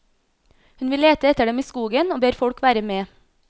Hun vil lete etter dem i skogen og ber folk være med.